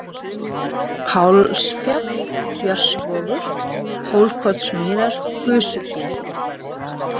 Pálsfjall, Björnsvogur, Hólkotsmýrar, Gusugil